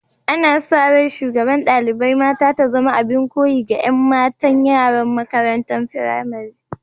Ana sa rai shugaban dalibain mata ta zama abin koyi ga yan matan yara'n makarantan firamari.